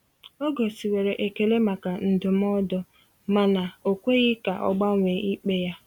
Ọ gosiwere ekele maka ndụmọdụ, mana o kweghị ka ọ gbanwee ikpe ya.